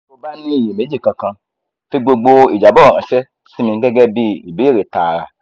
tí o bá ní ìyèméjì kankan fi gbogbo ìjábọ̀ ránṣẹ́ sí mi gẹ́gẹ́ bí ìbéèrè tààrà